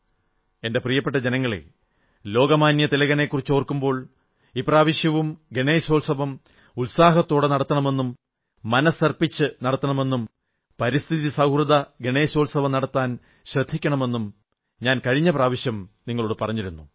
എന്റെ പ്രിയപ്പെട്ട ജനങ്ങളേ ലോകമാന്യ തിലകനെക്കുറിച്ചോർക്കുമ്പോൾ ഇപ്രാവശ്യവും ഗണേശോത്സവും ഉത്സാഹത്തോടെ നടത്തണമെന്നും മനസ്സർപ്പിച്ച് നടത്തണമെന്നും പരിസ്ഥിതി സൌഹൃദ ഗണേശോത്സവം നടത്താൻ ശ്രദ്ധിക്കണമെന്നും ഞാൻ കഴിഞ്ഞ പ്രാവശ്യം നിങ്ങളോടു പറഞ്ഞിരുന്നു